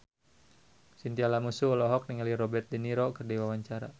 Chintya Lamusu olohok ningali Robert de Niro keur diwawancara